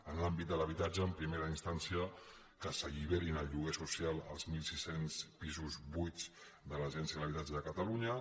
en l’àmbit de l’habitatge en primera instància que s’alliberin al lloguer social els mil sis cents pisos buits de l’agència de l’habitatge de catalunya